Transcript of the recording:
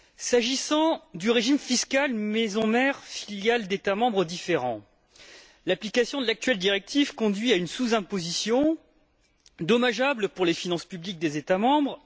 S'agissant du régime fiscal maisons mères filiales d'États membres différents, l'application de l'actuelle directive conduit à une sous imposition dommageable pour les finances publiques des États membres.